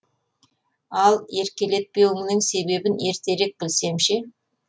ал еркелетпеуіңнің себебін ертерек білсем ше